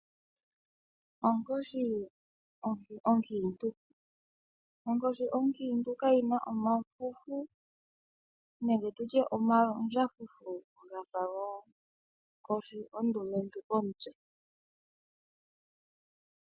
Onkoshi onkiintu kayi na omafufu nenge tu tye omandjafufu ga fa gonkoshi ondumentu komutse.